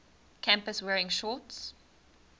campus wearing shorts